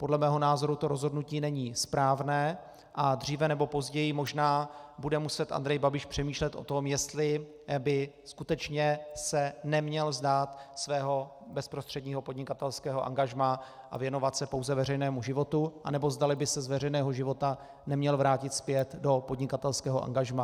Podle mého názoru to rozhodnutí není správné a dříve nebo později možná bude muset Andrej Babiš přemýšlet o tom, jestli by skutečně se neměl vzdát svého bezprostředního podnikatelského angažmá a věnovat se pouze veřejnému životu, anebo zdali by se z veřejného života neměl vrátit zpět do podnikatelského angažmá.